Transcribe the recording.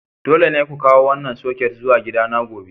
Dole ne ku kawo wannan soket zuwa gidana gobe!